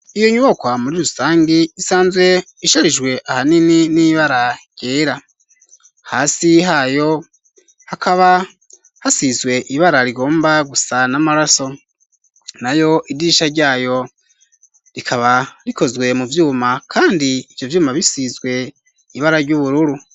Iyo nyubakwa muri rusangi, isanzwe isharijwe ahanini n'ibara ryera; hasi hayo hakaba hasizwe ibara rigomba gusa n'amaraso, nayo idirisha ryayo rikaba rikozwe mu vyuma, kandi ivyo vyuma bisizwe ibara ry'ubururu.